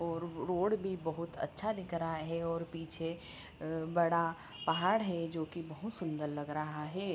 और रोड भी बहुत अच्छा दिख रहा है और पीछे बड़ा पहाड़ है जो की बहोत सुंदर लग रहा है।